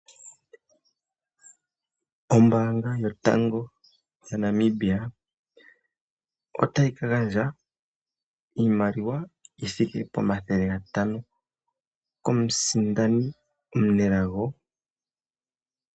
Ombaanga yotango yopashigwana yaNamibia otayi ka gandja iimaliwa yi thike pomathele gantano komusindani ngoka taka kala omunelago ngoka taka gandja uunongo we shina sha nombaanga oyo tuu ndjika.